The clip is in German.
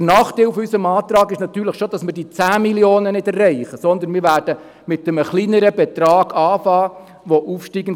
Der Nachteil unseres Antrags ist natürlich schon, dass wir diese 10 Mio. Franken nicht erreichen, sondern mit einem kleineren Betrag beginnen werden, der dann steigt.